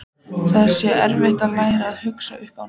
Það sé erfitt að læra að hugsa upp á nýtt.